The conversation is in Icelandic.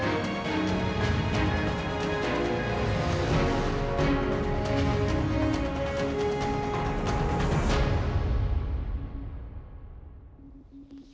við